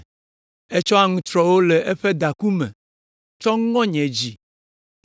Etsɔ aŋutrɔwo le eƒe daku me tsɔ ŋɔ nye dzi.